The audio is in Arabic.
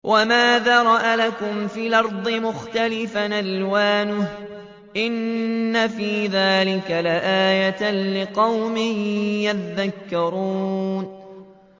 وَمَا ذَرَأَ لَكُمْ فِي الْأَرْضِ مُخْتَلِفًا أَلْوَانُهُ ۗ إِنَّ فِي ذَٰلِكَ لَآيَةً لِّقَوْمٍ يَذَّكَّرُونَ